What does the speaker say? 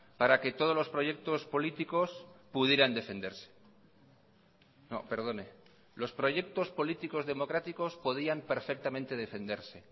para que todos los proyectos políticos pudieran defenderse no perdone los proyectos políticos democráticos podían perfectamente defenderse